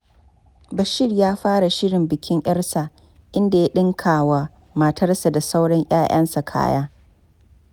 Bashir ya fara shirin bikin 'yarsa, inda ya ɗinka wa matarsa da sauran 'ya'yansa kaya.